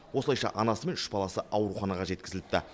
осылайша анасымен үш баласы ауруханаға жеткізіліпті